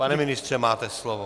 Pane ministře, máte slovo.